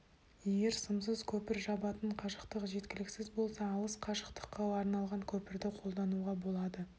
егер сымсыз көпір жабатын қашықтық жеткіліксіз болса алыс қашықтыққа арналған көпірді қолдануға болады